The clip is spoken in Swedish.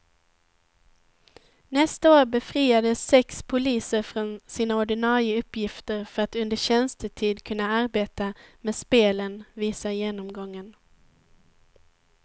Nästa år befriades sex poliser från sina ordinarie uppgifter för att under tjänstetid kunna arbeta med spelen, visar genomgången.